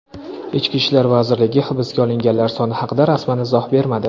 Ichki ishlar vazirligi hibsga olinganlar soni haqida rasman izoh bermadi.